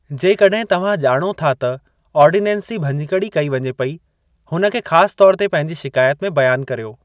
जेकॾहिं तव्हां ॼाणो था त आर्डीनेंस जी भञिकड़ी कई वञे पेई, हुन खे ख़ासि तौर ते पंहिंजी शिकायत में बयानु करियो।